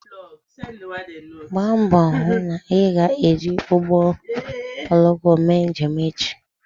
Gbaa mbọ hụ na ị ga-eji ụgbọ oloko mee njem echi